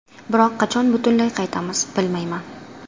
Biroq qachon butunlay qaytamiz, bilmayman.